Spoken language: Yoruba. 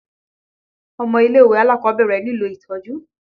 Ọmọ ilé-ìwé alákọ̀ọ́bẹ̀rẹ̀ nílò itọ́jú.